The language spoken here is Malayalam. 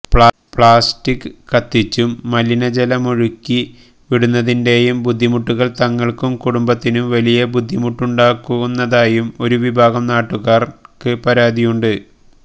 പ്ലാസ്റ്റിക് കത്തിച്ചും മലിനജലമൊഴിക്കി വിടുന്നതിന്റെയും ബുദ്ധിമുട്ടുകൾ തങ്ങൾക്കും കുടുംബത്തിനും വലിയ ബുദ്ധിമുട്ടുകളുണ്ടാക്കുന്നതായും ഒരു വിഭാഗം നാട്ടുകാർക്ക് പരാതിയുണ്ട്